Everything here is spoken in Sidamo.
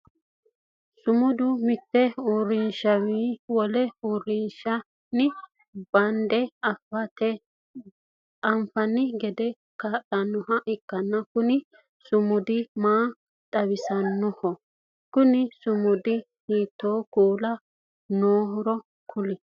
Sumudu mite uurinsha wole uurinshanni bande anfanni gede kaa'lanoha ikanna kunni sumudi maa xawissanoho? Kunni sumudira hiitoo kuuli nooro kuli?